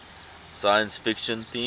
science fiction themes